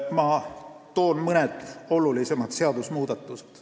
Ma toon mõned olulisemad seadusmuudatused.